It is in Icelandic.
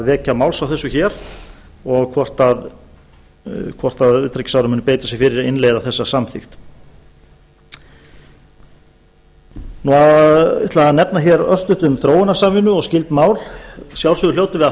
vekja máls á þessu hér og hvort utanríkisráðherra muni beita sér fyrir að innleiða þessa samþykkt ég ætla að nefna örstutt um þróunarsamvinnu og skyld mál að sjálfsögðu hljótum ið að